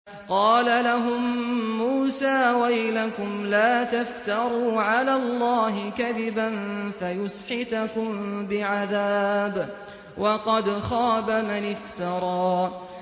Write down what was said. قَالَ لَهُم مُّوسَىٰ وَيْلَكُمْ لَا تَفْتَرُوا عَلَى اللَّهِ كَذِبًا فَيُسْحِتَكُم بِعَذَابٍ ۖ وَقَدْ خَابَ مَنِ افْتَرَىٰ